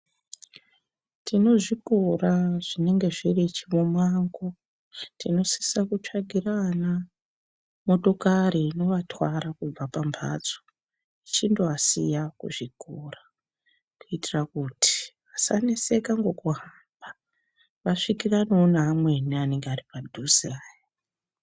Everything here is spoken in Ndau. Tine zvikora zvinenge zviri chimumango tinosisa kutswagira ana motokari inovatwara kubva pamhatso ichindovasiya kuzvikora. Kuitira kuti vasaneseka nekuhamba vasvikiranevo neamweni anenge ari padhuze aya.